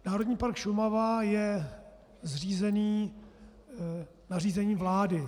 Národní park Šumava je zřízen nařízením vlády.